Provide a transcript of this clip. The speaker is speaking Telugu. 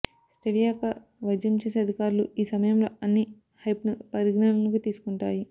స్టెవియా యొక్క వైద్యం చేసే అధికారాలు ఈ సమయంలో అన్ని హైప్ను పరిగణలోకి తీసుకుంటాయి